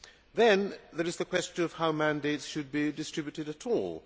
Then there is the question of how mandates should be distributed at all.